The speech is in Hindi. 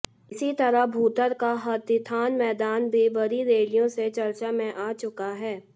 इसी तरह भुंतर का हाथीथान मैदान भी बड़ी रैलियों से चर्चा में आ चुका है